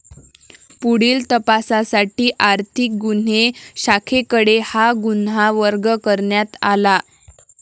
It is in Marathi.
पुढील तपासासाठी आर्थिक गुन्हे शाखेकडे हा गुन्हा वर्ग करण्यात आला.